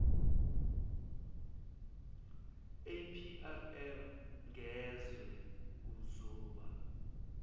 aprm ngezwe uzoba